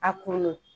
A kunnu